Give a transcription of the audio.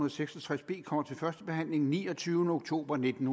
og seks og tres b kommer til første behandling den niogtyvende oktober nitten